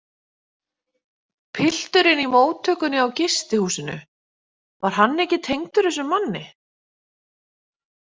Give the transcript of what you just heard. Pilturinn í móttökunni á gistihúsinu, var hann ekki tengdur þessum manni?